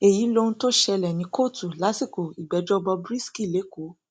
èyí lohun tó ṣẹlẹ ní kóòtù lásìkò ìgbẹjọ bob risky lẹkọọ